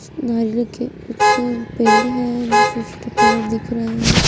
नारियल के कुछ पेड़ है जो छोटे छोटे पेड़ दिख रहे हैं।